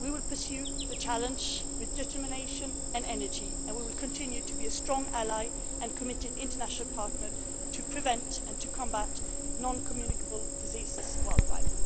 We will pursue the challenge with determination and energy, and we will continue to be a strong ally and committed international partner in preventing and combating non communicable diseases worldwide.